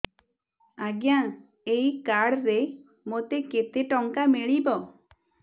ଆଜ୍ଞା ଏଇ କାର୍ଡ ରେ ମୋତେ କେତେ ଟଙ୍କା ମିଳିବ